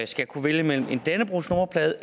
skal kunne vælge mellem en dannebrogsnummerplade og